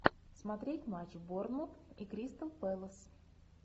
смотреть матч борнмут и кристал пэлас